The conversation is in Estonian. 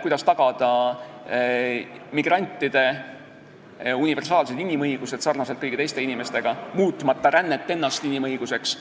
kuidas tagada migrantidele sarnaselt kõigi teiste inimestega universaalsed inimõigused, muutmata rännet ennast inimõiguseks.